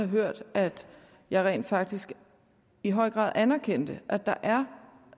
hørt at jeg rent faktisk i høj grad anerkendte at der er